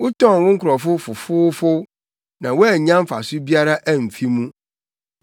Wotɔn wo nkurɔfo fofoofow, na woannya mfaso biara amfi mu.